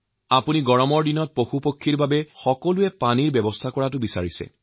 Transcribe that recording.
আপুনি গ্ৰীষ্মকালত পশুপক্ষীৰ বাবে পানীৰ ব্যৱস্থা কৰাৰ অনুৰোধ জনাইছে